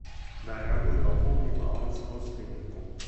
дорогой пополни баланс родственнику